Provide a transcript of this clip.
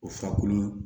O fura kolon